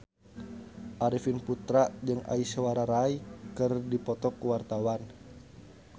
Arifin Putra jeung Aishwarya Rai keur dipoto ku wartawan